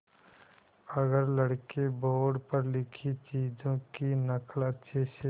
अगर लड़के बोर्ड पर लिखी चीज़ों की नकल अच्छे से